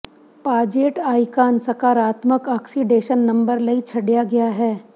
ਪਾਜੇਟ ਆਈਕਾਨ ਸਕਾਰਾਤਮਕ oxidation number ਲਈ ਛੱਡਿਆ ਗਿਆ ਹੈ